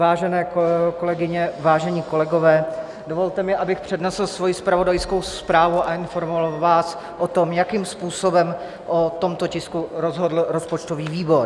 Vážené kolegyně, vážení kolegové, dovolte mi, abych přednesl svoji zpravodajskou zprávu a informoval vás o tom, jakým způsobem o tomto tisku rozhodl rozpočtový výbor.